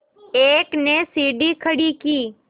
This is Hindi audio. एक ने सीढ़ी खड़ी की